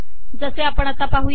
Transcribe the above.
जसे आपण आता पाहू या